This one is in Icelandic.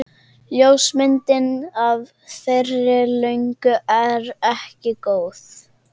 Ljósmyndin af þeirri löngu er ekki góð.